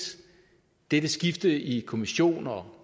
dette skifte i kommissionen og